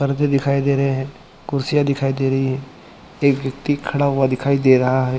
परदे दिखाए दे रहे हैं कुर्सीया दिखाई दे रही है एक व्यक्ति खड़ा हुआ दिखाई दे रहा है।